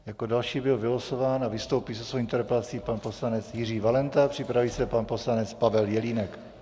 Jako další byl vylosován a vystoupí se svou interpelací pan poslanec Jiří Valenta, připraví se pan poslanec Pavel Jelínek.